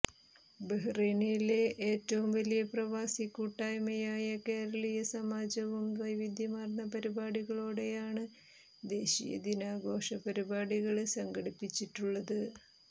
ബഹ്റൈനിലെ ഏറ്റവും വലിയ പ്രവാസി കൂട്ടായ്മയായ കേരളീയ സമാജവും വൈവിധ്യമാര്ന്ന പരിപാടികളോടെയാണ് ദേശീയ ദിനാഘോഷ പരിപാടികള് സംഘടിപ്പിച്ചിട്ടുള്ളത്